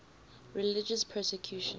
religious persecution